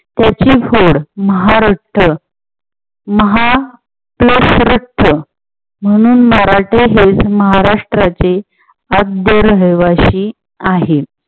त्याची खोड महा रक्त महा plus रक्त म्हणून मराठे हे महाराष्ट्राचे रहिवाशी आहेत.